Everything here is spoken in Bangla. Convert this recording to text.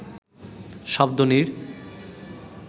শব্দ নীড়